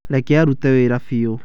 Reke arute wĩra biũ.